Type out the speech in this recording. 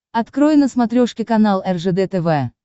открой на смотрешке канал ржд тв